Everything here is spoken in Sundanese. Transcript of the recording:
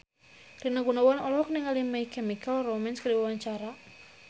Rina Gunawan olohok ningali My Chemical Romance keur diwawancara